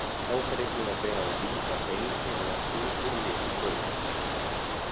Þá fer einnig að bera á því, að bein hinna látnu voru lituð rauð.